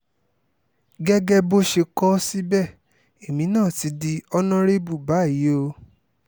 gẹ́gẹ́ bó ṣe kọ ọ́ síbẹ̀ èmi náà ti di ọ̀nàrẹ́bù báyìí o